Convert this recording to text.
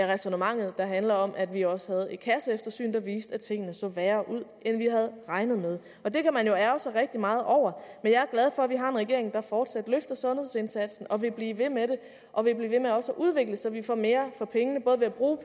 ræsonnementet der handler om at vi også havde et kasseeftersyn der viste at tingene så værre ud end vi havde regnet med det kan man jo ærgre sig rigtig meget over men jeg er glad for vi har en regering der fortsat løfter sundhedsindsatsen og vil blive ved med det og vil blive ved med også at udvikle så vi får mere for pengene både ved at bruge